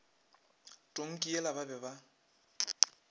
tonki yela ba be ba